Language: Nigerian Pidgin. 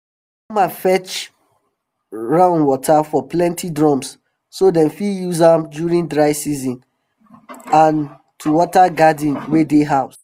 farmer fetch raun water for plenty drums so dem fit use am during dry season and to water garden wey dey house